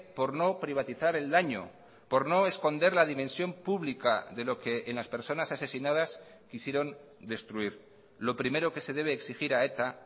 por no privatizar el daño por no esconder la dimensión pública de lo que en las personas asesinadas quisieron destruir lo primero que se debe exigir a eta